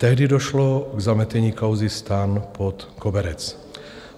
Tehdy došlo k zametení kauzy STAN pod koberec.